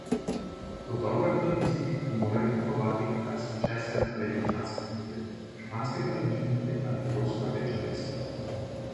To dobro vedo tisti, ki morajo kupovati kitajski česen ali egipčanski krompir, španske paradižnike ali poljsko rdečo peso.